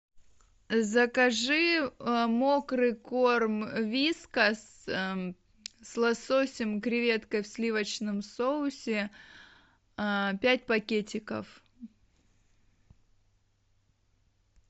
закажи мокрый корм вискас с лососем креветкой в сливочном соусе пять пакетиков